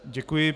Děkuji.